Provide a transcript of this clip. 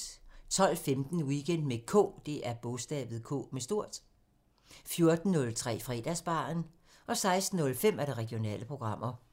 12:15: Weekend med K 14:03: Fredagsbaren 16:05: Regionale programmer